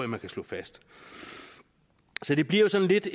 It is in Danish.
man kan slå fast så det bliver jo sådan lidt